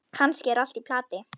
Kannski er allt í plati.